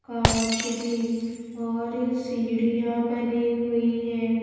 कांच की और सीढ़ियां बनी हुई हैं.